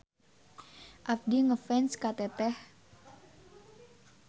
Abdi ngefans ka Teteh.